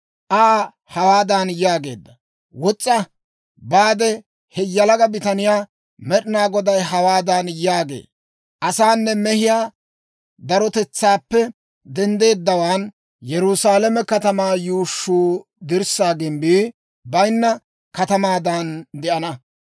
Aa hawaadan yaageedda; «Wos's'a; baade he yalaga bitaniyaa, Med'inaa Goday hawaadan yaagee; ‹Asaanne mehiyaa darotetsaappe denddeeddawaan Yerusaalame katamaa yuushshuu dirssaa gimbbii baynna katamaadan de'ana.